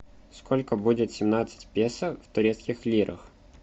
сколько будет семнадцать песо в турецких лирах